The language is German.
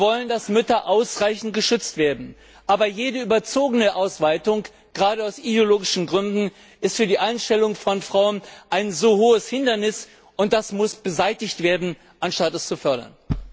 Wir wollen, dass Mütter ausreichend geschützt werden, aber jede überzogene Ausweitung, gerade aus ideologischen Gründen, ist für die Einstellung von Frauen ein so hohes Hindernis, und das muss beseitigt werden, anstatt es zu fördern.